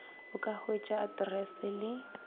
o ka hwetša aterese le